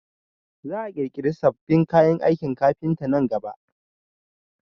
Za a ƙirƙiri sabbin kayan aikin kafinta nan gaba